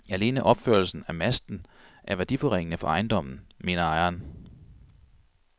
Alene opførelsen af masten er værdiforringende for ejendommen, mener ejeren.